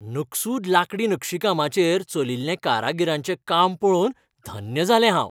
नकसूद लांकडी नक्षीकामाचेर चलिल्लें कारागिरांचें काम पळोवन धन्य जालें हांव.